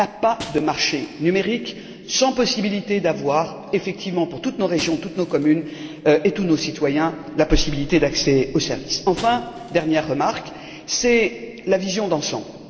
Il n'y a pas de marché numérique sans possibilité d'avoir, effectivement, pour toutes nos régions, toutes nos communes et tous nos citoyens, un accès aux services. Enfin, ma dernière remarque porte sur la vision d'ensemble.